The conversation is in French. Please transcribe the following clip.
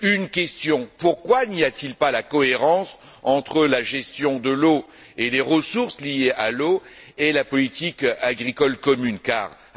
Une question pourquoi n'y a t il pas de cohérence entre la gestion de l'eau et les ressources liées à l'eau, d'une part, et la politique agricole commune, d'autre part?